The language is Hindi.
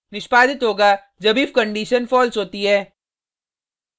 निष्पादित होगा जब if कंडिशन false होती है